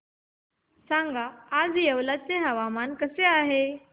सांगा आज येवला चे हवामान कसे आहे